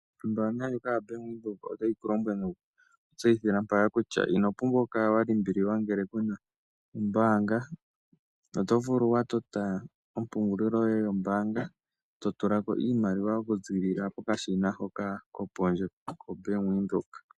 Ombanga ndjoka yaBank Windhoek otayi ku lombwele nokukutseyithila mpaka kutya ino pumbwa okukala wa limbililwa ngele ku na ombaanga oto vulu wu tote ompungulilo yoye yombanga to tula ko iimaliwa okuzilila pokashina hoka kopondje koBank Windhoek.